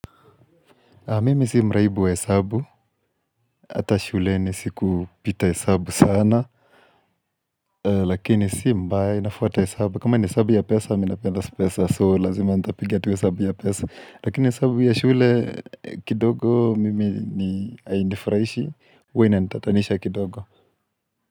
Mimi si mraibu wa hesabu, hata shuleni sikupita hesabu sana Lakini si mbaya inafuata hesabu, kama ni hesabu ya pesa mi napenda pesa so lazima ntapiga tu hesabu ya pesa Lakini hesabu ya shule kidogo mimi ni hainifurahishi huwa inanitatanisha kidogo.